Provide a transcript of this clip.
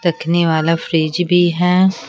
तखने वाला फ्रिज भी है।